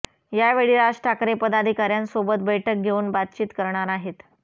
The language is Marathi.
यावेळी राज ठाकरे पदाधिकाऱ्यांसोबत बैठक घेऊन बातचीत करणार आहेत